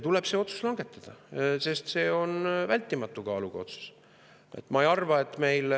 See otsus tuleb langetada, sest see on vältimatu otsus.